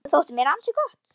Þetta þótti mér ansi gott.